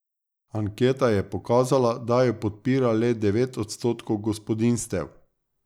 Anketa je pokazala, da jo podpira le devet odstotkov gospodinjstev.